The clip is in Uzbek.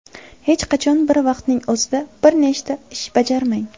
Hech qachon bir vaqtning o‘zida bir nechta ish bajarmang.